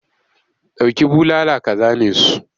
Dauki bulala ka zane su!